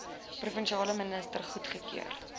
provinsiale minister goedgekeur